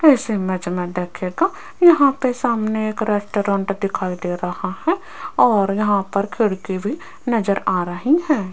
इस इमेज में देखिएगा यहां पे सामने एक रेस्टोरेंट दिखाई दे रहा है और यहां पर खिड़की भी नजर आ रही हैं।